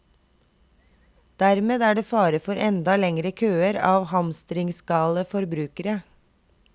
Dermed er det fare for enda lengre køer av hamstringsgale forbrukere.